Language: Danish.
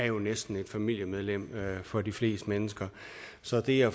jo næsten er et familiemedlem for de fleste mennesker så det at